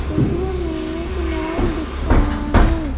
चित्र में एक मोर दिख रहा है.